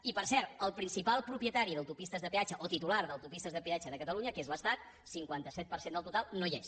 i per cert el principal propietari d’autopistes de peatge o titular d’autopistes de peatge de catalunya que és l’estat cinquanta set per cent del total no hi és